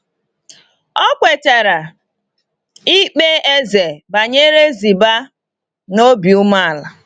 O kwetara ikpe eze banyere Ziba n’obi umeala.